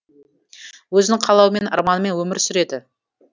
өзінің қалауымен арманымен өмір сүреді